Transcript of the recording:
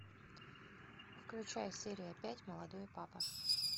включай серия пять молодой папа